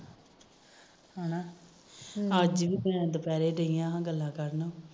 ਹਮ ਅੱਜ ਵੀ ਦੁਪਿਹਰੇ ਪਈ ਆ ਗੱਲਾਂ ਕਰਨ